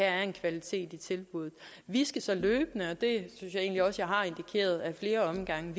er en kvalitet i tilbuddet vi skal så løbende og det jeg egentlig også jeg har indikeret ad flere omgange